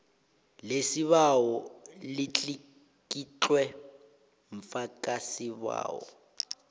lesibawo litlikitlwe mfakisibawo